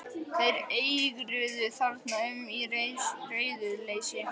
Þeir eigruðu þarna um í reiðuleysi.